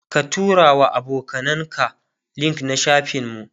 ka turawa abokanan ka link na shafin mu